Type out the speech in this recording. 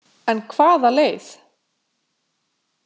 En hvaða leið?